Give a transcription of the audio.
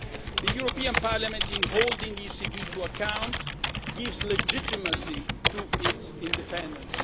The European Parliament, in holding the ECB to account, gives legitimacy to its independence.